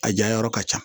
A jayɔrɔ ka ca